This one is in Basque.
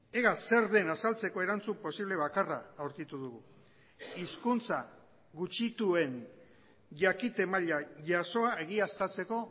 ega zer den azaltzeko erantzun posible bakarra aurkitu dugu hizkuntza gutxituen jakite maila jasoa egiaztatzeko